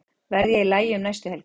Verð ég í lagi um næstu helgi?